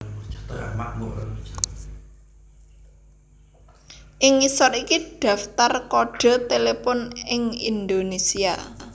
Ing ngisor iki daftar kodhe telepon ing Indonésia